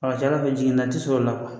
A ka ca i b'a fɔ jiginna tɛ sɔrɔ o la.